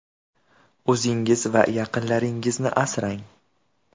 O‘zingiz va yaqinlaringizni asrang.